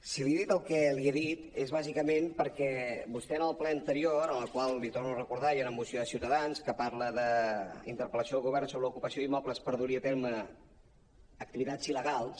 si li he dit el que li he dit és bàsicament perquè vostè en el ple anterior en el qual li ho torno a recordar hi ha una moció de ciutadans que parla d’ interpellació al govern sobre l’ocupació d’immobles per dur hi a terme activitats il·legals